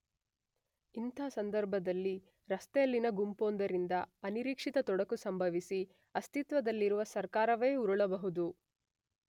ಇಂಥ ಸಂದರ್ಭದಲ್ಲಿ ರಸ್ತೆಯಲ್ಲಿನ ಗುಂಪೊಂದರಿಂದ ಅನಿರೀಕ್ಷಿತ ತೊಡಕು ಸಂಭವಿಸಿ ಅಸ್ತಿತ್ವದಲ್ಲಿರುವ ಸರ್ಕಾರವೇ ಉರುಳಬಹುದು.